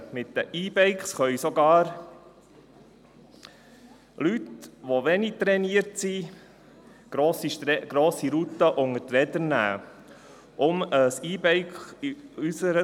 Mit E-Bikes können sogar Leute, die wenig trainiert sind, grosse Routen unter die Räder nehmen.